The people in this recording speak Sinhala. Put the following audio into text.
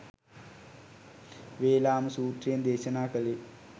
වේලාම සූත්‍රයෙන් දේශනා කළේ